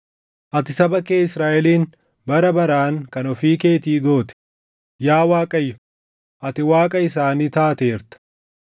Ati saba kee Israaʼelin bara baraan kan ofii keetii goote; Yaa Waaqayyo, ati Waaqa isaanii taateerta.